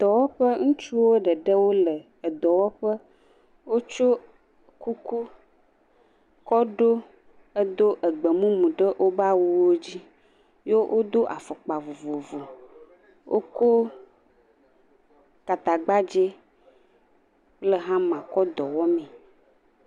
Dɔwɔƒe, ŋutsuwo ɖeɖe wole dɔwɔƒe, wotsɔ kuku kɔ ɖo eɖo gbe mumu ɖe woƒe awuwo dzi ye wodo afɔkpa vovovo wokɔ gatagbadze kple hama kɔ dɔ wɔmee.